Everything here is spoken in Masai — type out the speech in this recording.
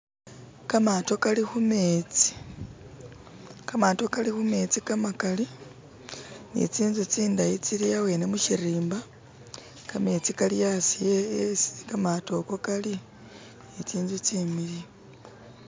kamaato kali khumetsi kamaato kali khumetsi kamakali ni tsinzu tsindayi tsiliawene mushirimba kametsi kali aasi esi kamaato ako kali ni tsinzu tsimiliyu.